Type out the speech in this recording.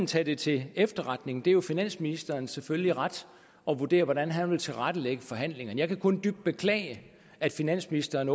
tage det til efterretning det er finansministerens selvfølgelige ret at vurdere hvordan han vil tilrettelægge forhandlingerne jeg kan kun dybt beklage at finansministeren